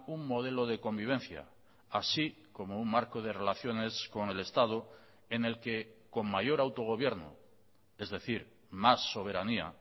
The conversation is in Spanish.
un modelo de convivencia así como un marco de relaciones con el estado en el que con mayor autogobierno es decir más soberanía